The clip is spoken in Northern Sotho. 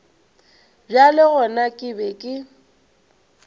bjale gona ke be ke